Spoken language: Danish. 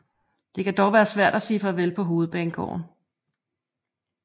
Det kan dog være svært at sige farvel på Hovedbanegården